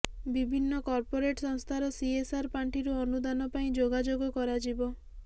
ବିଭିନ୍ନ କର୍ପୋରେଟ୍ ସଂସ୍ଥାର ସିଏସଆର ପାଣ୍ଠିରୁ ଅନୁଦାନ ପାଇଁ ଯୋଗାଯୋଗ କରାଯିବ